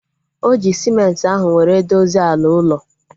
O ji sịmenti ahu were dozie ala ụlọ